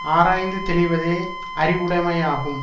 ஆராய்ந்து தெளிவதே அறிவுடைமையாகும்